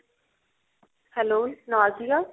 hello